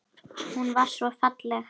Hún var svo falleg.